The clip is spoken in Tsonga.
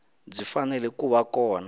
byi fanele ku va kona